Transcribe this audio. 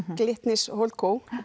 Glitnis HoldCo